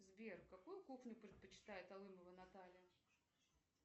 сбер какую кухню предпочитает алымова наталья